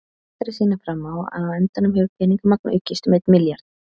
Hægt er að sýna fram á að á endanum hefur peningamagn aukist um einn milljarð.